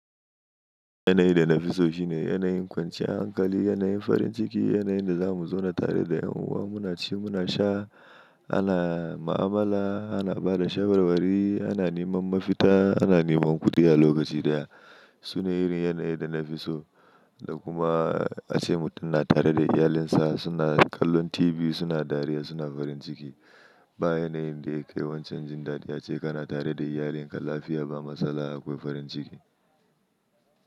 Yanayi da na fi so shine yanayin kwanciyar hankali, yanayin farin ciki, yanayin da za mu zauna tare da ’yan uwa, muna ci, muna sha, ana ma'amala, ana ba da shawarwari, ana neman mafita, ana neman kuɗiya lokaci guda. Sune irin yanayin da na fi so, da kuma ace mutum na tare da iyalinsa, suna kallon TV, suna dariya, suna farin ciki. Ba yanayin da yake wancan jin daɗi ace kana tare da iyalin ka lafiya ba matsala akwai farin ciki.